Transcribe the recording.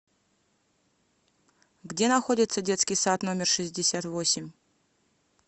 где находится детский сад номер шестьдесят восемь